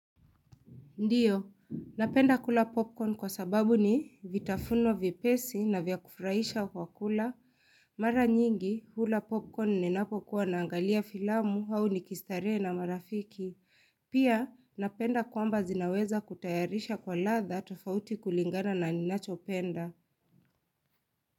Ndiyo, napenda kula popcorn kwa sababu ni vitafuno vyepesi na vya kufraisha kwa kula Mara nyingi, ula popcorn ninakokuwa naangalia filamu au nikistarehe na marafiki. Pia, napenda kwamba zinaweza kutayarisha kwa ladha tofauti kulingana na ninachopenda.